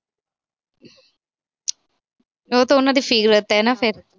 ਉਹ ਤਾਂ ਉਹਦਾ ਦੀ ਫਿਦਰਤ ਆ ਫਿਰ।